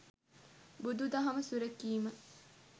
බුදු දහම සුරැකීම